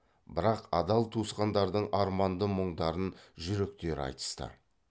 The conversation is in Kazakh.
бірақ адал туысқандардың арманды мұңдарын жүректері айтысты